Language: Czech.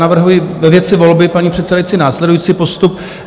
Navrhuji ve věci volby, paní předsedající, následující postup.